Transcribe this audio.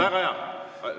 Väga hea!